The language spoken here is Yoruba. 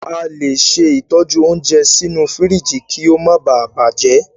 A le ṣe ìtọ́jú óúnjẹ sínú fíríjì kí o máa ba à bàjẹ́.